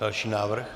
Další návrh.